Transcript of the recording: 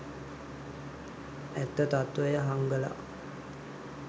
ඇත්ත තත්වය හංගලා